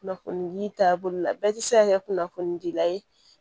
Kunnafonidi taabolo la bɛɛ tɛ se ka kɛ kunnafoni dila ye